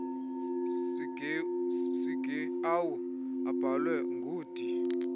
sigeawu obhalwe ngud